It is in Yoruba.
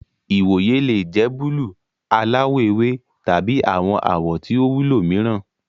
Ìwòyè le jẹ buluu, aláwò ewé, tabi awọn awọ tí o wúlò mìíràn.